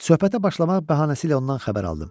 Söhbətə başlamaq bəhanəsi ilə ondan xəbər aldım.